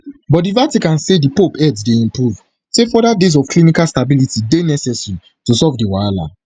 but di vatican say di pope health dey improve say further days of clinical stability dey necessary to solve di wahala